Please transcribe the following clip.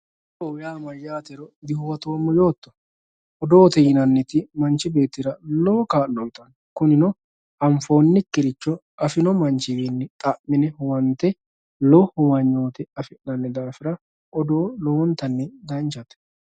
Odoote yinanniti maatiro dihuwattoommo yootto, odoote yinanniti manchi beettira lowo kaa'lo uyittano kunino anfoonikkiricho afino manchiwinni xa'mine huwante lowo huwanyote affi'nanni daafira odoo lowontanni danchate.